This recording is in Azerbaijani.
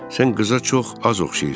Sən qıza çox az oxşayırsan.